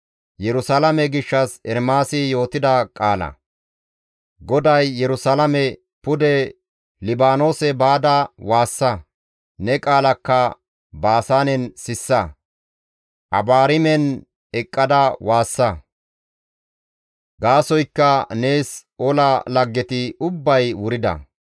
GODAY Yerusalaame, «Pude Libaanoose baada waassa; Ne qaalakka Baasaanen sissa; Abaarimen eqqada waassa; gaasoykka nees ola laggeti ubbay wurida.